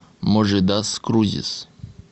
можи дас крузис